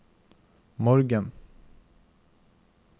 morgen